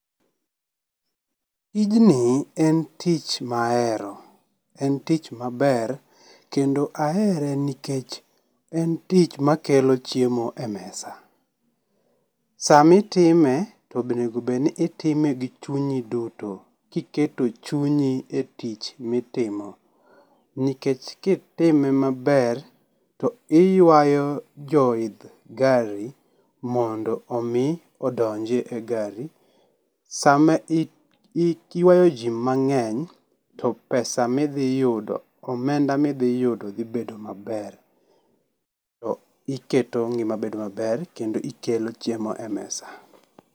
Tijni en tich ma ahero, en tich maber kendo ahere nikech en tich makelo chiemo e mesa. Sama itime to bonego obed ni itime gi chunyi duto kiketo chunyi e tich mitimo nikech kitime maber to iywayo jo idh gari mondo omi odonj e gari. Sama iiii iywayo jii mangeny to pesa midhi yudo omenda ma idhi yudo dhi bedo maber iketo ngima dhi bedo maber kendo ikelo chiemo e mesa